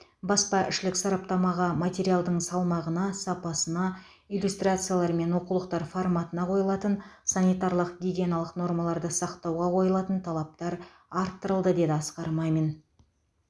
баспаішілік сараптамаға материалдың салмағына сапасына иллюстрациялар мен оқулықтар форматына қойылатын санитарлық гигиеналық нормаларды сақтауға қойылатын талаптар арттырылды деді асқар мамин